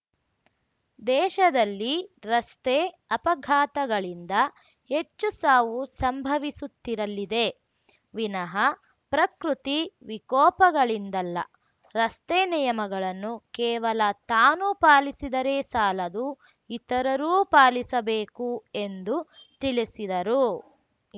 ದೇಶದಲ್ಲಿ ರಸ್ತೆ ಅಪಘಾತಗಳಿಂದ ಹೆಚ್ಚು ಸಾವು ಸಂಭವಿಸುತ್ತಿರಲಿದೆ ವಿನಃ ಪ್ರಕೃತಿ ವಿಕೋಪಗಳಿಂದಲ್ಲ ರಸ್ತೆ ನಿಯಮಗಳನ್ನು ಕೇವಲ ತಾನು ಪಾಲಿಸಿದರೆ ಸಾಲದು ಇತರರೂ ಪಾಲಿಸಬೇಕು ಎಂದು ತಿಳಿಸಿದರು